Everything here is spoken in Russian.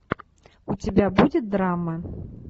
у тебя будет драма